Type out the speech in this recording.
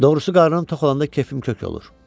Doğrusu qarnım tox olanda kefim kök olur.